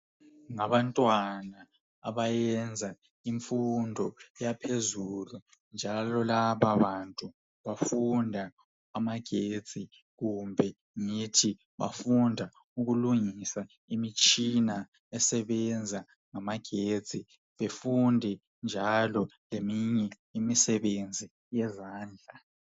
Ngabantwana abayenza imfundo yaphezulu njalo lababantu bafunda amagetsi kumbe ngithi bafunda ukulungisa imitshina esebenza ngamagetsi befunde njalo ngeminye imisebenzi yezandla.